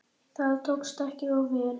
Það tókst ekki of vel.